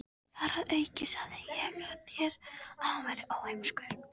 Þar að auki sagði ég þér, að hann væri óheimskur.